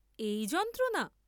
এই যন্ত্রণা?